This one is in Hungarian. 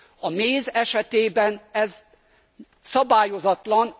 A méz esetében ez szabályozatlan.